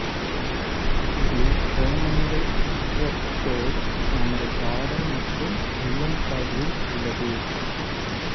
இதில் உரோமங்கள் அற்ற தோல் நமது பாதம் மற்றும் உள்ளங்கால்களில் உள்ளது